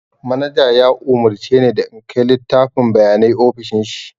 Manaja ya umurce ni da in kai littafin bayanai ofishin shi